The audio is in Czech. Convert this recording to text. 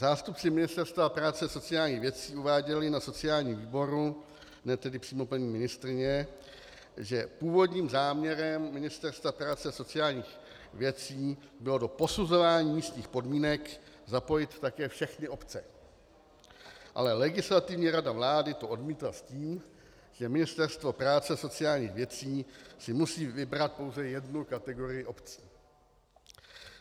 Zástupci Ministerstva práce a sociálních věcí uváděli na sociálním výboru, ne tedy přímo paní ministryně, že původním záměrem Ministerstva práce a sociálních věcí bylo do posuzování místních podmínek zapojit také všechny obce, ale Legislativní rada vlády to odmítla s tím, že Ministerstvo práce a sociálních věcí si musí vybrat pouze jednu kategorii obcí.